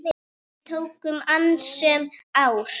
Við tóku annasöm ár.